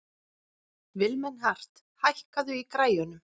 Vilmenhart, hækkaðu í græjunum.